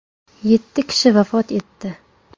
Yetti kishi vafot etdi.